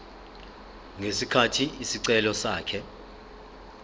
ngesikhathi isicelo sakhe